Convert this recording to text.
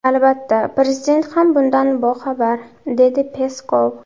Albatta, prezident ham bundan boxabar”, dedi Peskov.